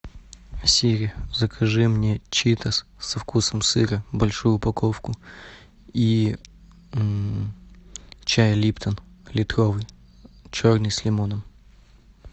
сири закажи мне читос со вкусом сыра большую упаковку и чай липтон литровый черный с лимоном